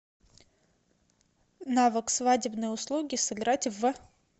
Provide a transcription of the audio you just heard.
навык свадебные услуги сыграть в